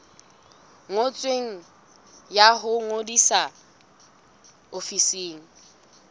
ngotsweng ya ho ngodisa ofising